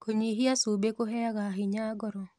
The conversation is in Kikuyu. Kũnyĩhĩa cũbĩ kũheaga hinya ngoro